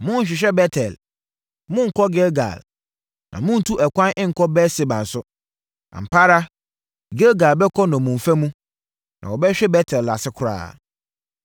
Monnhwehwɛ Bet-El, monnkɔ Gilgal, na monntu ɛkwan nkɔ Beer-Seba nso. Ampa ara Gilgal bɛkɔ nnommumfa mu na wɔbɛhwe Bet-El ase koraa.”